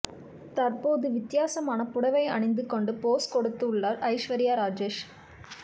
தற்போது வித்யாசமான புடைவை அணிந்து கொண்டு போஸ் கொடுத்து உள்ளார் ஐஸ்வர்யா ராஜேஷ்